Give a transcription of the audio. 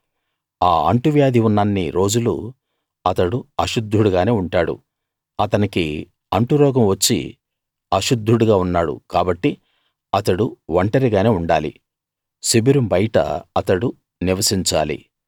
ఆ అంటువ్యాధి ఉన్నన్ని రోజులూ అతడు అశుద్ధుడుగానే ఉంటాడు అతనికి అంటురోగం వచ్చి అశుద్ధుడుగా ఉన్నాడు కాబట్టి అతడు ఒంటరిగానే ఉండాలి శిబిరం బయట అతడు నివసించాలి